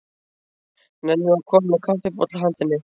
Nennirðu að koma með kaffibolla handa henni